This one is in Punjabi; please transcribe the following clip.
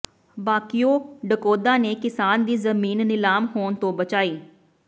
ਭਾਕਿਯੂ ਡਕੌਾਦਾ ਨੇ ਕਿਸਾਨ ਦੀ ਜ਼ਮੀਨ ਨਿਲਾਮ ਹੋਣ ਤੋਂ ਬਚਾਈ